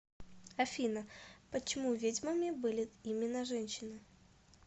афина почему ведьмами были именно женщины